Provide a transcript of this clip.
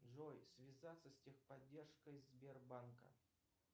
джой связаться с техподдержкой сбербанка